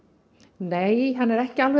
nei ekki alveg